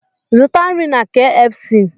Zụta nri na kfc!